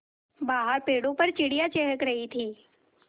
बाहर पेड़ों पर चिड़ियाँ चहक रही थीं